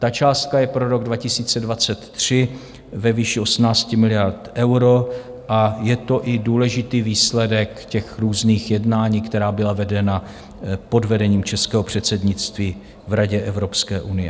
Ta částka je pro rok 2023 ve výši 18 miliard eur a je to i důležitý výsledek těch různých jednání, která byla vedena pod vedením českého předsednictví v Radě Evropské unie.